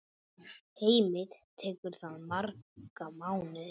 Heimir: Tekur það marga mánuði?